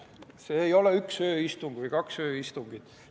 See ei ole üks ööistung või kaks ööistungit.